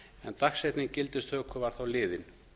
en dagsetning gildistöku var þá liðin